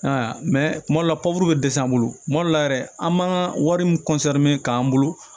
kuma dɔ la bɛ dɛsɛ an bolo kuma dɔ la yɛrɛ an b'an ka wari min k'an bolo